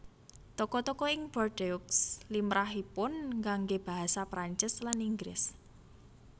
Toko toko ing Bordeaux limrahipun nganggé basa Prancis lan Inggris